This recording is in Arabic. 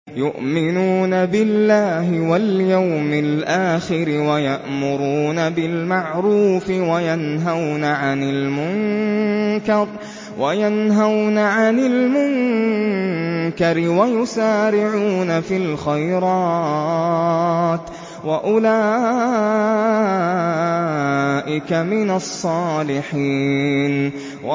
يُؤْمِنُونَ بِاللَّهِ وَالْيَوْمِ الْآخِرِ وَيَأْمُرُونَ بِالْمَعْرُوفِ وَيَنْهَوْنَ عَنِ الْمُنكَرِ وَيُسَارِعُونَ فِي الْخَيْرَاتِ وَأُولَٰئِكَ مِنَ الصَّالِحِينَ